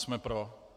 Jsme pro.